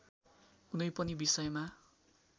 कुनै पनि विषयमा